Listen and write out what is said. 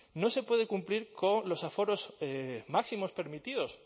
no se puede cumplir con los aforos máximos permitidos